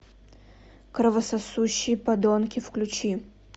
кровососущие подонки включи